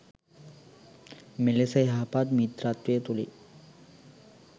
මෙලෙස යහපත් මිත්‍රත්වය තුළින්